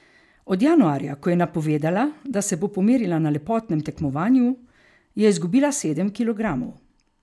Od januarja, ko je napovedala, da se bo pomerila na lepotnem tekmovanju, je izgubila sedem kilogramov.